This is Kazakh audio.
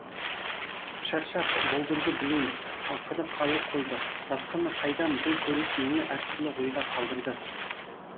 шаршап болдырды білем ақыры қалып қойды басқаны қайдам бұл көрініс мені әртүрлі ойға қалдырды